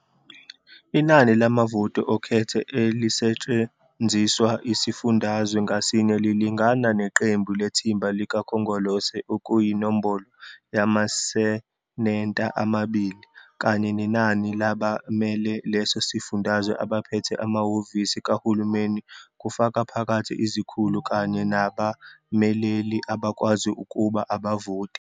Inani lamavoti okhetho elisetshenziswa yisifundazwe ngasinye lilingana neqembu lethimba likakhongolose okuyinombolo yamaSeneta, amabili, kanye nenani labamele leso sifundazwe. Abaphethe amahhovisi kahulumeni, kufaka phakathi izikhulu kanye nabameleli, abakwazi ukuba abavoti.